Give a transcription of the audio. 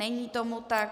Není tomu tak.